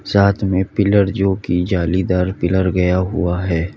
साथ में पिलर जो की जालीदार पीलर गया हुआ है।